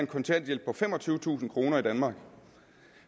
kontanthjælp på femogtyvetusind kroner i danmark